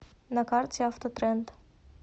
на карте автотренд